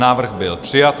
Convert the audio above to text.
Návrh byl přijat.